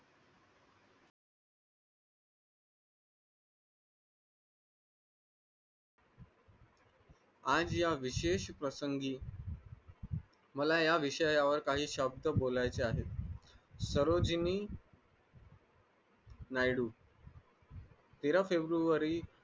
आज या विशेष प्रसंगी मला या विषयावर काही शब्द बोलायचे आहेत तेरा फेब्रुवारी